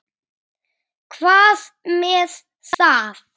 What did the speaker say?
Hvað með það?